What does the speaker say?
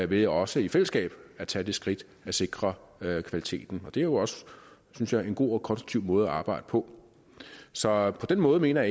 ved også i fællesskab at tage det skridt at sikre kvaliteten det er jo også synes jeg en god og konstruktiv måde at arbejde på så på den måde mener